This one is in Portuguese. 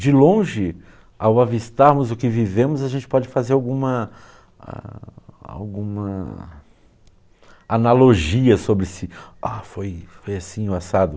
De longe, ao avistarmos o que vivemos, a gente pode fazer alguma alguma... analogia sobre se, ah, foi assim ou assado.